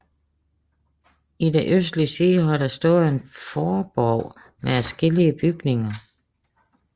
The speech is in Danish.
I den østlige side har der stået en forborg med adskillige bygninger